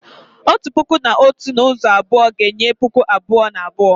Otu puku na otu n'ụzọ abụọ ga-enye puku abụọ na abụọ